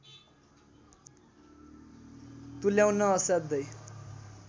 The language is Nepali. तुल्याउन असाध्यै